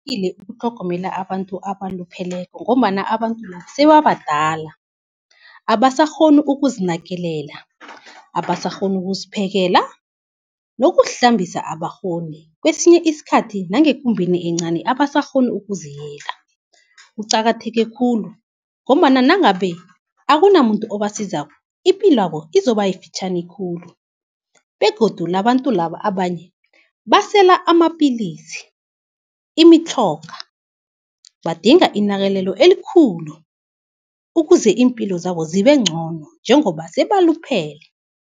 ukutlhogomela abantu abalupheleko, ngombana abantu sebabadala abasakghoni ukuzinakelela, abasakghoni ukuziphekela nokuzihlambisa abakghoni, kwesinye isikhathi nangekumbeni encani abasakghoni ukuziyela. Kuqakatheke khulu ngombana nangabe akunamuntu obasizako ipilwabo izoba yifitjhani khulu begodu labantu laba abanye basela amapilisi, imitjhoga. Badinga inakelelo elikhulu ukuze impilo zabo zibe ncono njengoba sebaluphele.